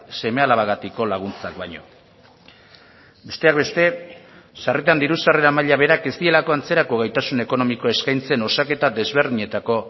seme alabagatiko laguntzak baino besteak beste sarritan diru sarrera maila berak ez dielako antzerako gaitasun ekonomiko eskaintzen osaketa desberdinetako